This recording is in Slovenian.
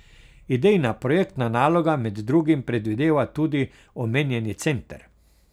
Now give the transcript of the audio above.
Idejna projektna naloga med drugim predvideva tudi omenjeni center.